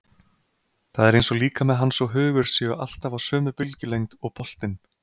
Það er eins og líkami hans og hugur séu alltaf á sömu bylgjulengd og boltinn.